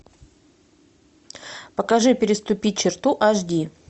покажи переступить черту аш ди